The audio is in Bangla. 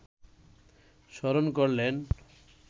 স্মরণ করলেন